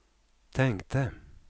tänkte